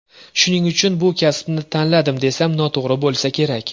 Shuning uchun bu kasbni tanladim, desam noto‘g‘ri bo‘lsa kerak.